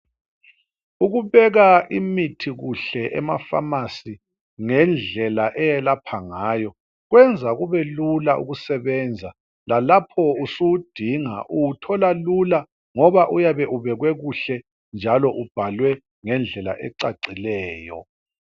Ukubeka imithi kuhle emaPharmacy ngendlela eyelapha ngayo. Kwenza kubelula ukusebenza. Lalapho usuwudinga uwuthola lula ngoba uyabe ubekwe kuhle njalo ubhalwe ngendlela ecacileyo.